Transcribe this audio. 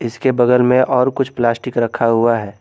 इसके बगल में और कुछ प्लास्टिक रखा हुआ है।